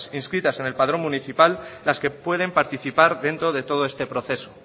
inscritas en el padrón municipal las que pueden participar dentro de todo este proceso